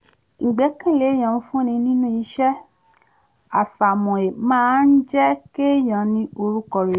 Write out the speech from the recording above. ìgbẹ́kẹ̀lé èyàn fún ni nínú iṣẹ́ àsomọ́ máa ń jẹ́ kéèyàn ní orúkọ rere